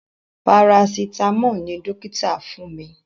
Parasitamọ́ọ̀ ni dókítà fún mi